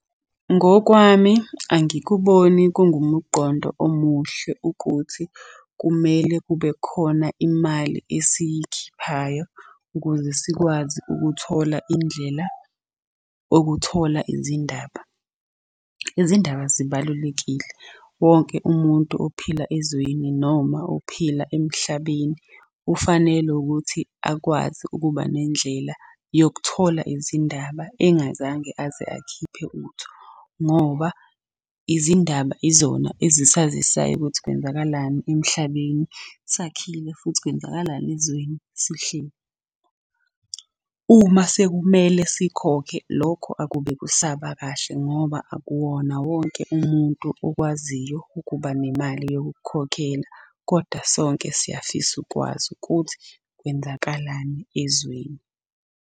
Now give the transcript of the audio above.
Ngokwami angikuboni kungumuqondo omuhle ukuthi kumele kube khona imali esiyikhiphayo ukuze sikwazi ukuthola indlela okuthola izindaba. Izindaba zibalulekile, wonke umuntu ophila ezweni noma ophila emhlabeni ufanele ukuthi akwazi ukuba nendlela yokuthola izindaba engazange aze akhiphe utho. Ngoba izindaba izona ezisazisayo ukuthi kwenzakalani emhlabeni sakhile, futhi kwenzakalani ezweni sihleli. Uma sekumele sikhokhe lokho akube kusaba kahle ngoba akuwona wonke umuntu okwaziyo ukuba nemali yokukukhokhela kodwa sonke siyafisa ukwazi ukuthi kwenzakalani ezweni.